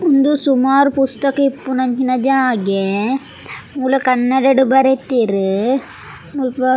ಉಂದು ಸುಮಾರ್ ಪುಸ್ತಕ ಇಪ್ಪುನಂಚಿನ ಜಾಗೆ ಮೂಲು ಕನ್ನಡಡ್ ಬರೆತೆರ್ ಮುಲ್ಪ.